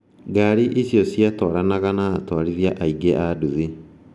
Ngari icio ciatwaranaga na atwarithia aingĩ a nduthi.